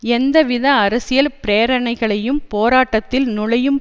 எவ்வித அரசியல் பிரேரணைகளையும் போராட்டத்தில் நுழையும்